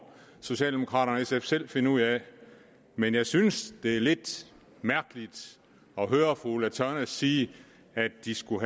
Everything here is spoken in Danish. socialdemokraterne selv finde ud af men jeg synes det er lidt mærkeligt at høre fru ulla tørnæs sige at de skulle